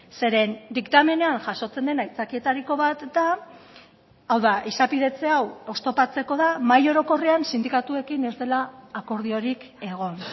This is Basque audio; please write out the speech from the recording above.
zeren diktamenean jasotzen den aitzakietariko bat da hau da izapidetze hau oztopatzeko da mahai orokorrean sindikatuekin ez dela akordiorik egon